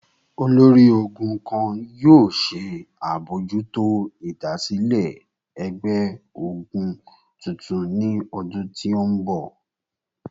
Olori-ogun kan yoo ṣe abojuto idasile ẹgbẹ-ogun tuntun ni ọdun ti n bọ